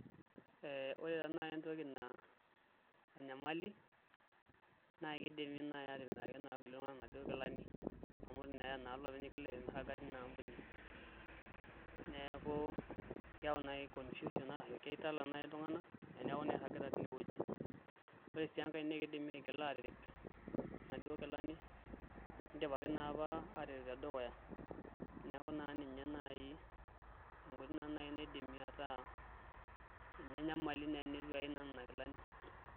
Wore taa naji entoki naa enyamali, naa kidimi naai atimiraki naa kulie tunganak inaduo kilani amu itu naa eya olopeny igila aisho mirraga tenia ambuni. Neeku keyau nai confusion ashu kitala nai iltunganak eneeku naa iragita teniewoji. Wore sii enkae naa kidimi aigila aatirip inaduo kilani, nidipaki naa apa aatirip tedukuya. Neeku naa ninye naai, enkoitoi naa naai naidim ataa ninye enyamali tenitu eyai naa niana kilani.